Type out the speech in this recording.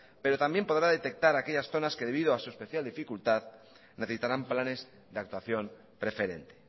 pero también podrá detectar aquellas zonas que debido a su especial dificultad necesitaran planes de actuación preferente